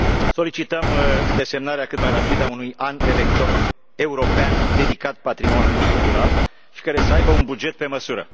Solicităm desemnarea cât mai rapidă a unui an european dedicat patrimoniului cultural și care să aibă un buget pe măsură.